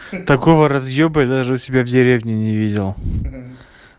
такого разъёба я даже у себя в деревне не видел